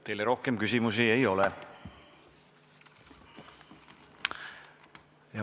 Teile rohkem küsimusi ei ole.